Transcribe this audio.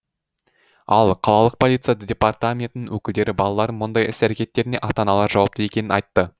ал қалалық полиция департаментінің өкілдері балалардың мұндай іс әрекеттеріне ата аналары жауапты екенін айтты